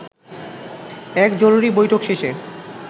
এক জরুরী বৈঠক শেষে